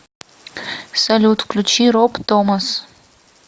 салют включи роб томас